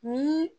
Ni